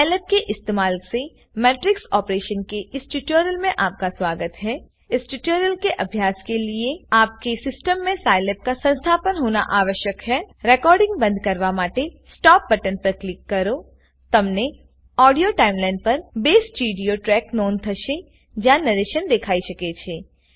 Scilab के इस्तेमाल से मैट्रिक्स ऑपरेशन के इस ट्यूटोरियल में आपका स्वागत है इस ट्यूटोरियल के अभ्यास लिए आपके सिस्टम में साइलैब का संस्थापन होना आवश्यक है રેકોર્ડીંગ બંધ કરવા માટે STOPબટન પર ક્લિક કરોતમને ઓડીઓ ટાઈમ લાઈન પર 2 સ્ટીરીઓ ટ્રેકની નોંધ થશે જ્યાં નરેશન દેખાઈ શકે છે